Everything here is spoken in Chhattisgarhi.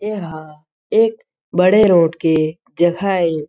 एह एक बड़े रोड के जगह हे।